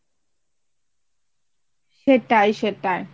সেটাই সেটাই